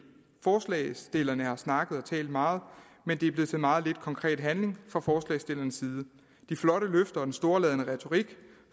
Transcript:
forslagsstillerne har snakket og talt meget men det er blevet til meget lidt konkret handling fra forslagsstillernes side de flotte løfter og den storladne retorik